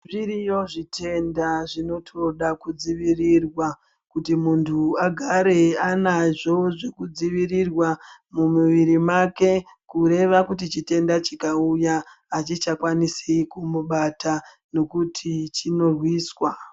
Zviriyo zvitenda zvinotoda kudzivirirwa kuti muntu agare anazvo zvekudzivirirwa mumuviri make. Kureva kuti chitenda chikauya hachichakwanisi kumubata nokuti chinorwiswa.